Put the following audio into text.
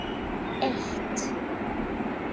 eitt